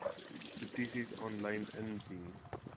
petisies aanlyn indien